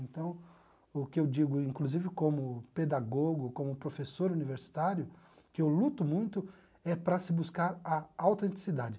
Então, o que eu digo, e inclusive como pedagogo, como professor universitário, que eu luto muito, é para se buscar a autenticidade.